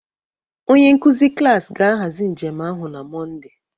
Onye nkuzi klas ga-ahazi njem ahụ na Mọnde